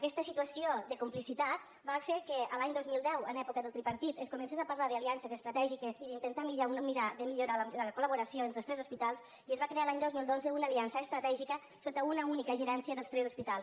aquesta situació de complicitat va fer que l’any dos mil deu en època del tripartit es comencés a parlar d’aliances estratègiques i d’intentar mirar de millorar la collaboració entre tots tres hospitals i es va crear l’any dos mil dotze una aliança estratègica sota una única gerència de tots tres hospitals